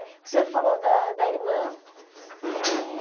O senhor falou da da irmã. Eh